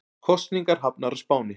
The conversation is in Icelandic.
Kosningar hafnar á Spáni